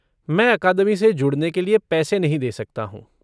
मैं अकादमी से जुड़ने के लिए पैसे नहीं दे सकता हूँ।